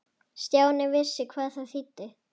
Stjáni vissi hvað það þýddi.